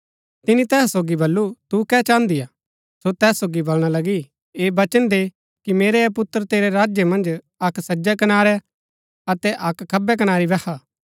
तिनी तैहा सोगी बल्लू तू कै चाहन्दी हा सो तैस सोगी बलणा लगी ऐह वचन दे कि मेरै ऐह पुत्र तेरै राज्य मन्ज अक्क सज्जै कनारी अतै अक्क खब्बै कनारी बैहा